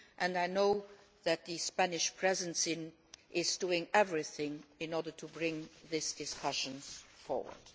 I know that the Spanish Presidency is doing everything in order to bring these discussions forward.